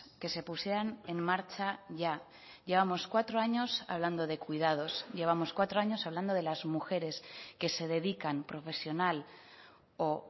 que se pusieran en marcha ya llevamos cuatro años hablando de cuidados llevamos cuatro años hablando de las mujeres que se dedican profesional o